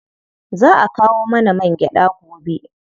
Za a kawo mana mangyaɗa gobe.